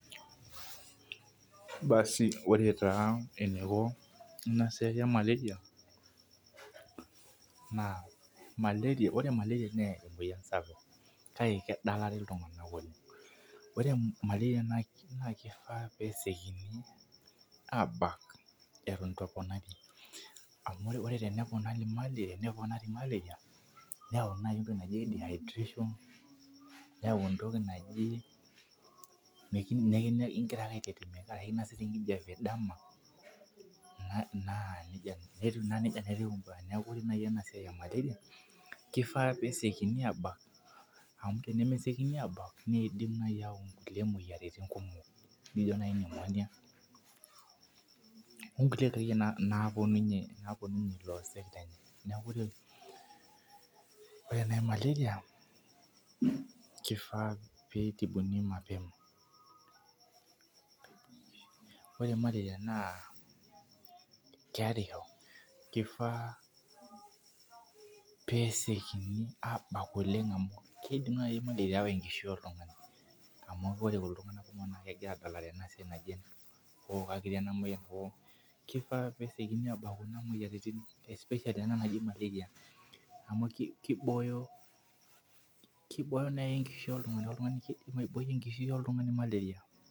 Basii ore taa eniko ina siai ee Malaria ore Malaria naa emoyian sapuk kake kedalare iltung'ana oleng'. Ore malarai naa keifaa nesiokink abaka eton eitu eponari amuu ore teneponari malaria neponari malaria neeyau naji entoki naji dehydration neyau entoki naji neeku igira ake aikirikira osesen kinosita enkijape dama naa neija neeku neijaa etiu ibaa neeku ore naji ena siai ee Malaria keifaa pee esiokini abaka amu tenesiokini abak neidim naji ayau kulie moyiaritin kumok nijo naji pneumonia oo nkukie doii napuonu ninye tilo osek neeku ore naji malaria keifaa pee itibuni mapema. Ore malaria naa keerisho keifaa peesikioni abak Olen gkeidin naji malaria awaa enkishui oltung'ani amu ore iltung'ana kumoko naa kegira adalare ina moyian. Keufaa pee eisiokinj abak kuna moyiarin especially anaa naji malaria amuu kiboyo kiboyo enkishui oltung'ani kidim abou enkishui oltung'ani malaria